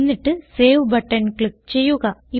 എന്നിട്ട് save button click ചെയ്യുക